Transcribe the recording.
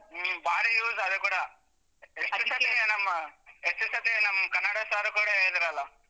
ಹ್ಮ್‌ ಬಾರಿ use ಅದೂ ಕೂಡಾ ನಮ್ಮ ನಮ್ ಕನ್ನಡ sir ಕೂಡ ಇದ್ರಲ್ಲ.